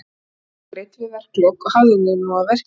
Laun eru greidd við verkalok og hafðu þig nú að verki.